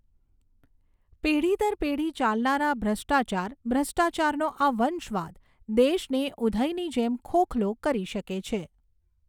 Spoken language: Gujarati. પેઢી દર પેઢી ચાલનારા ભ્રષ્ટાચાર, ભ્રષ્ટાચારનો આ વંશવાદ, દેશને ઊધઈની જેમ ખોખલો કરી શકે છે.